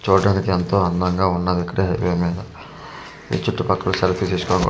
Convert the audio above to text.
చూడడానికి ఎంతో అందంగా ఉన్నది ఇక్కడ హైవే మీద ఈ చుట్టూ పక్కల సెల్ఫీ తీసి--